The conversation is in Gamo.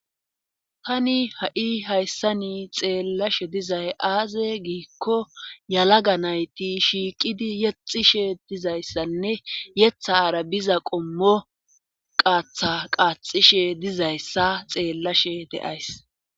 Tani ha7i hayssani xeellashe dizay aaze giikko yalaga nayti shiiqidi yexishe dizayssanne yetha aarabiza qommo qaatha qaaxishe dizayssa xeellashe deays